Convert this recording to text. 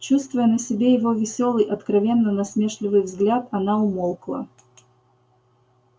чувствуя на себе его весёлый откровенно насмешливый взгляд она умолкла